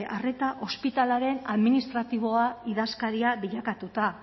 arreta ospitalearen administratiboa idazkaria bilakatuta